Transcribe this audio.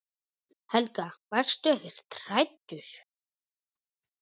Helga: Varstu ekkert hræddur?